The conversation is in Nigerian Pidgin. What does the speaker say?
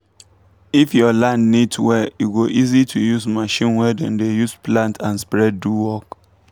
if your land neat well e go easy to use machine wey dem dey use plant and spread do work